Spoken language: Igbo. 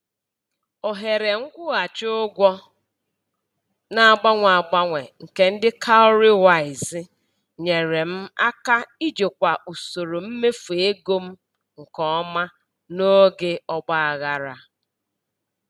Ohere nkwụghachi ụgwọ na-agbanwe agbanwe nke ndị "cowrywise" nyere m aka ijikwa usoro mmefu ego m nke ọma n'oge ọgbaghara.